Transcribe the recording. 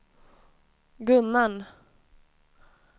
Gunnarn